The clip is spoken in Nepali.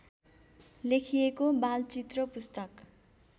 लेखिएको बालचित्र पुस्तक